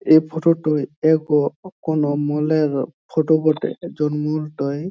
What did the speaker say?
এই ফোটো -টা এক কোনো মলের ফটো বটেএকজন মল টাই |